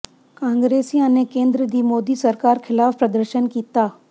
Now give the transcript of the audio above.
ਕਾਂਗਰਸੀਆਂ ਨੇ ਕੇਂਦਰ ਦੀ ਮੋਦੀ ਸਰਕਾਰ ਖ਼ਿਲਾਫ ਪ੍ਰਦਰਸ਼ਨ ਕੀਤਾ